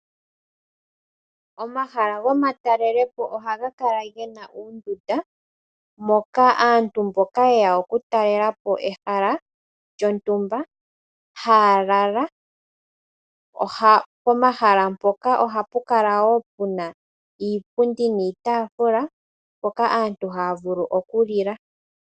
Omahala gomatalelepo oha ga kala ge na oondunda moka aantu mboka haye ya okutalelapo ehala lyontumba haya lala pomahala mpoka oha pu kala wo pu na iipundi niitafula mpoka aantu haya vulu okulila.